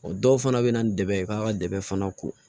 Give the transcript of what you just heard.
O dɔw fana bɛ na ni dɛmɛ ye k'a ka dɛmɛ fana ko